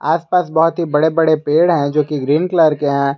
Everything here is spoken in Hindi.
आसपास बहुत ही बड़े बड़े पेड़ है जो कि ग्रीन कलर के हैं।